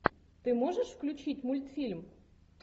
ты можешь включить мультфильм